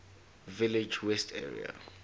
village west area